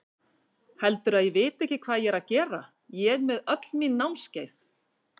Heldurðu að ég viti ekki hvað ég er að gera, ég með öll mín námskeið.